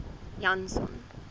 janson